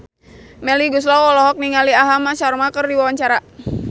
Melly Goeslaw olohok ningali Aham Sharma keur diwawancara